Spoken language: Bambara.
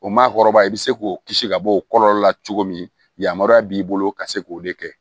O maakɔrɔba i be se k'o kisi ka bɔ o kɔlɔlɔ la cogo min yamaruya b'i bolo ka se k'o de kɛ